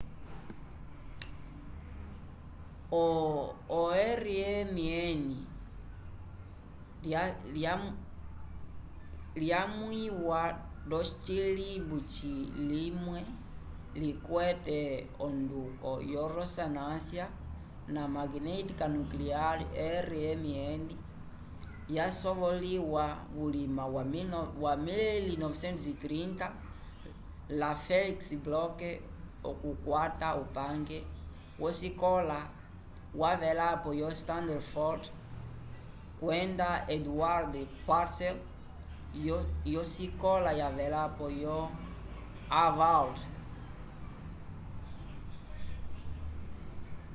o rmn lyamwiwa nd’ocilimbu limwe likwete onduko yo ressonância magnética nuclear rmn yasovoliwa vulima wa 1930 la felix bloch okukwata upange v’osikola yavelapo yo stanford kwenda edward purcell yosikola yavelapo yo harvard